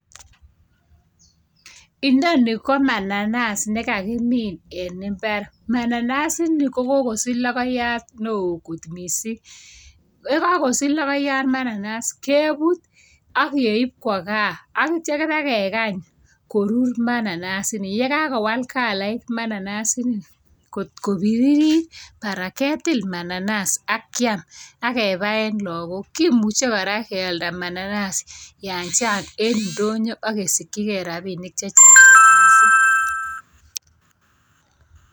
Inoni komananas nekakimin en imbaar. Mananas ini kokosich logoyaat newoo kot missing. Yekokosich logoyaat bananas, keebut ak keib Kwa gaa. Ak ityoo ibokekany koruur mananas inii. Yekakowal kalait mananas ini, kot kobiririt barak ketil mananas ak kiam ak kebaen logbook. Kimuche kora kealdaa mananas en indonyoo ak kesikyigei rabinik.